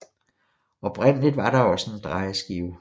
Oprindeligt var der også en drejeskive